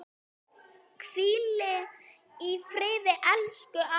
Hvíli í friði, elsku amma.